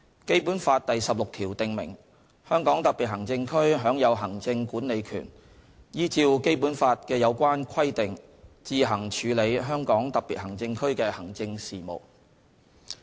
《基本法》第十六條訂明，香港特別行政區享有行政管理權，依照《基本法》的有關規定自行處理香港特別行政區的行政事務。